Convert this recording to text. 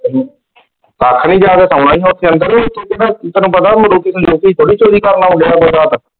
ਹਮ ਤੈਨੂੰ ਪਤਾ ਉਹ ,